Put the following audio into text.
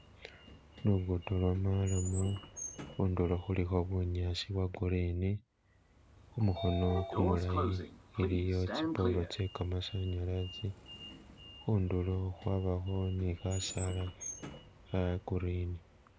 Lugudo lwo marram khudulo khulikho bunyaso bwo green kumukhono gumulayi iliyo tsi polo tse gamasanyalaze khudulo khwabakho ni khasaala kha green